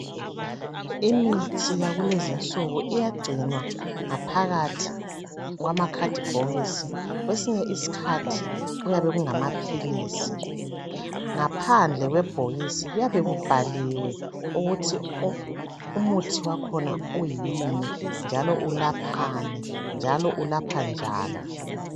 Imithi yakulezi'nsuku iyagcinwa ngaphakathi kwamakhadibhokisi kwesinye is'khathi kuyabe kungamaphilisi ngaphandle ,kwebhokisi kuyabe kubhaliwe ukuthi umuthi wakhona uyini njalo ulaphani njalo ulapha njani